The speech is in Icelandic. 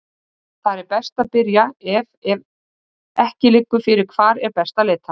Þar er best að byrja ef ef ekki liggur fyrir hvar er best að leita.